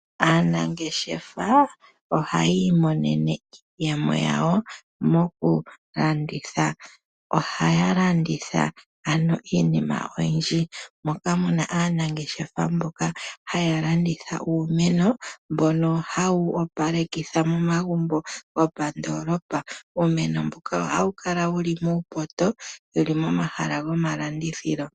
Aanangeshefa ohaya imonene iiyemo yawo mokulanditha. Ohaya landitha ano iinima oyindji, moka mu na aanangeshefa mboka haya landitha uumeno mbono hawu opalekitha momagumbo gomondoolopa, uumeno mboka oha wu kala muupoto wu li momahala gomalandithilo.